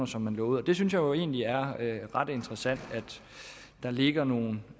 som man lovede det synes jeg jo egentlig er ret interessant at der ligger nogle